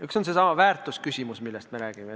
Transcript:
Üks on seesama väärtuse küsimus, millest me oleme rääkinud.